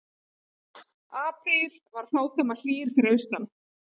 Apríl var fádæma hlýr fyrir austan